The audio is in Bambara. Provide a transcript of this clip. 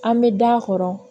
An bɛ da a kɔrɔ